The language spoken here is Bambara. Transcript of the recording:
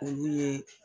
Olu ye